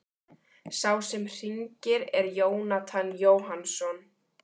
Sá sem hringir er Jónatan Jóhannsson.